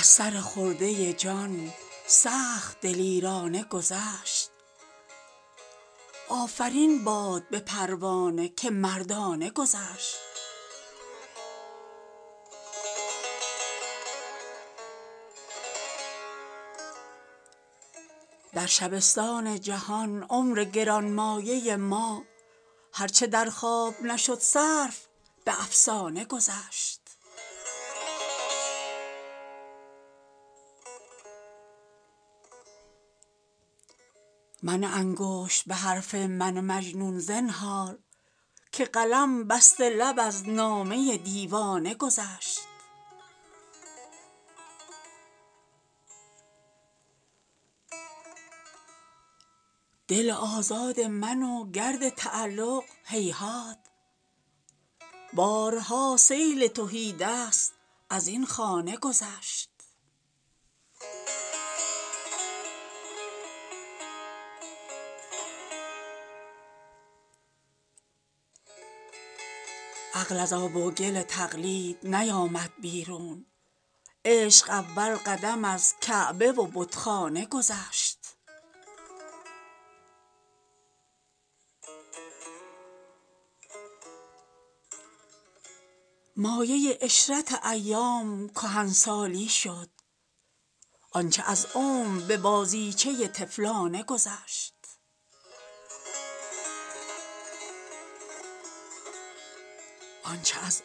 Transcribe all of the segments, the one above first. از سر خرده جان سخت دلیرانه گذشت آفرین باد به پروانه که مردانه گذشت در شبستان جان عمر گرانمایه دل هر چه در خواب نشد صرف به افسانه گذشت لرزه افتاد به شمع از اثر یکرنگی باد اگر تند به خاکستر پروانه گذشت ماجرای خرد و عشق تماشای خوشی است نتوان زود ازین کشتی خصمانه گذشت منه انگشت به حرف من مجنون زنهار که قلم بسته لب از نامه دیوانه گذشت مایه عشرت ایام کهنسالی شد آنچه از عمر به بازیچه طفلانه گذشت دل آزاد من و گرد تعلق هیهات بارها سیل تهیدست از این خانه گذشت گرد کلفت همه جا هست به جز عالم آب خنک آن عمر که در گریه مستانه گذشت شود آغوش لحد دامن مادر به کسی که یتیمانه به سر برد و غریبانه گذشت دل آگاه مرا خال لبش ساخت اسیر مرغ زیرک نتوانست ازین دانه گذشت عقده ای نیست که آسان نکند همواری رشته بی گره از سبحه صد دانه گذشت عقل از آب و گل تقلید نیامد بیرون عشق اول قدم از کعبه و بتخانه گذشت یک دم از خلوت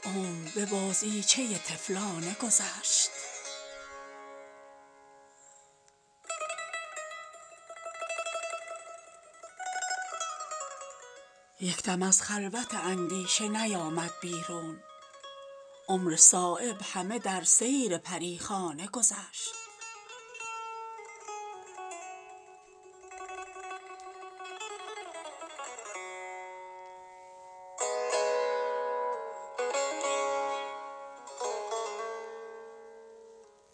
اندیشه نیامد بیرون عمر صایب همه در سیر پریخانه گذشت